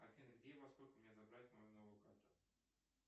афина где и во сколько мне забрать мою новую карту